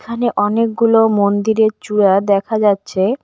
এখানে অনেকগুলো মন্দিরের চূড়া দেখা যাচ্ছে।